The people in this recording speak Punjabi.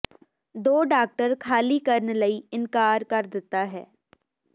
ਦੋ ਡਾਕਟਰ ਖਾਲੀ ਕਰਨ ਲਈ ਇਨਕਾਰ ਕਰ ਦਿੱਤਾ ਹੈ